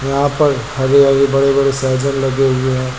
यहां पर हरे हरे बड़े बड़े लगे हुए हैं।